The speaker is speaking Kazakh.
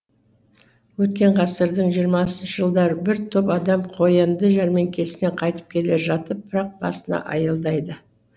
өткен ғасырдың жиырмасыншы жылдары бір топ адам қоянды жәрмеңкесінен қайтып келе жатып бірақ басына аялдайды